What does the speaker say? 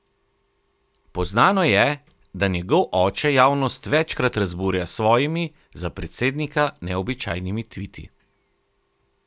Poznano je, da njegov oče javnost večkrat razburja s svojimi za predsednika neobičajnimi tviti.